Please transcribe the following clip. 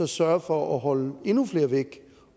sørge for at holde endnu flere væk